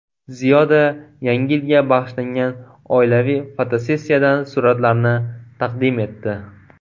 Ziyoda Yangi yilga bag‘ishlangan oilaviy fotosessiyadan suratlarni taqdim etdi.